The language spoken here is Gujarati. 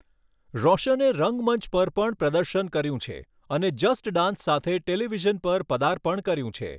રોશને રંગમંચ પર પણ પ્રદર્શન કર્યું છે અને 'જસ્ટ ડાન્સ' સાથે ટેલિવિઝન પર પદાર્પણ કર્યું છે.